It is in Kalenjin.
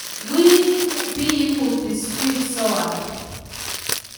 Wuui biibu buskut soam